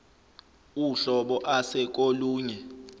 uhlobo ase kolunye